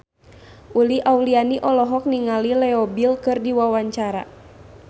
Uli Auliani olohok ningali Leo Bill keur diwawancara